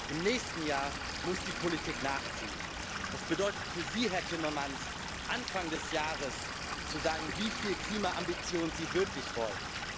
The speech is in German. Im nächsten Jahr muss die Politik nachziehen, das bedeutet für Sie, Herr Timmermans, Anfang des Jahres zu sagen, wieviel Klimaambition Sie wirklich wollen.